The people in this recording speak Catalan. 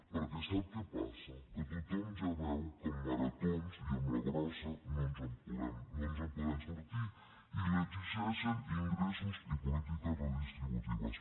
perquè sap què passa que tothom ja veu que amb maratons i amb la grossa no ens en podem sortir i li exigeixen ingressos i polítiques redistributives